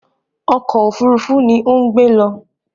Ọkọ̀ òfurufú ni ó ń gbé lọ